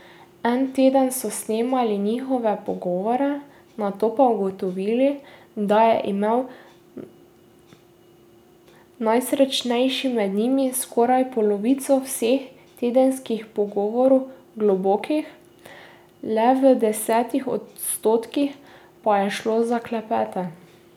En teden so snemali njihove pogovore, nato pa ugotovili, da je imel najsrečnejši med njimi skoraj polovico vseh tedenskih pogovorov globokih, le v desetih odstotkih pa je šlo za klepete.